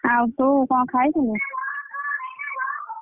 ଆଉ ତୁ କଣ ଖାଇଥିଲୁ?